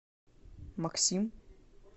максим